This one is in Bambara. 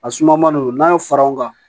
A suma man d'o ye n'a ye fara o kan